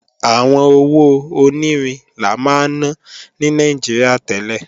Àwọn owó onírin la máa ná ní Nàìjíríà tẹ́lẹ̀